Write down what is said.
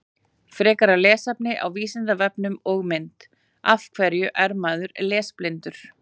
Frekara lesefni á Vísindavefnum og mynd Af hverju er maður lesblindur?